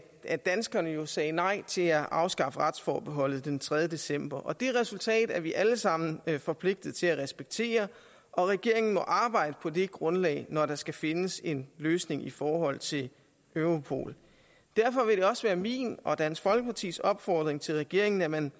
at danskerne jo sagde nej til at afskaffe retsforbeholdet den tredje december og det resultat er vi alle sammen forpligtede til at respektere og regeringen må arbejde på det grundlag når der skal findes en løsning i forhold til europol derfor vil det også være min og dansk folkepartis opfordring til regeringen at man